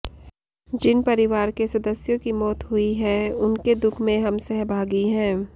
जिन परिवार के सदस्यों की मौत हुई है उनके दुख में हम सहभागी हैं